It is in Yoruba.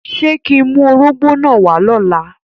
Ṣe ki ń mu órogbó náa wa lọla?